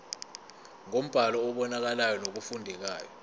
ngombhalo obonakalayo nofundekayo